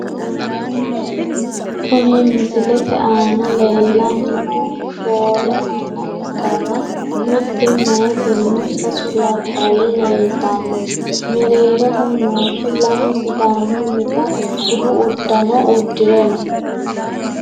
Kuni misilete aana leellanni noohu shoole manna ikkanna, mitte meyaatinna sasu labballi leeltanno, mereeroho noohu lamu sidaamunnita budu uddano uddire no.